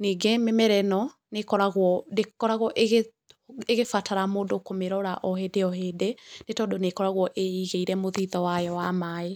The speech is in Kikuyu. Ningĩ mĩmera ĩno, ndĩkoragro ĩgĩbatara mũndũ kũmĩrora o hĩndĩ o hĩndĩ, nĩ tondũ nĩ ĩkoragwo ĩigĩire mũthithũ wayo wa maaĩ.